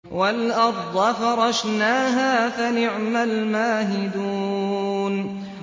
وَالْأَرْضَ فَرَشْنَاهَا فَنِعْمَ الْمَاهِدُونَ